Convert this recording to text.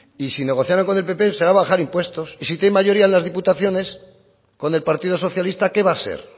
y si negociaran con el pp será bajar impuestos y si tienen mayoría en las diputaciones con el partido socialista qué va a ser